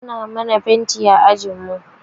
Ana mana fenti a ajinmu.